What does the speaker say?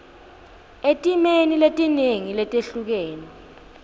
etimeni letinengi letehlukene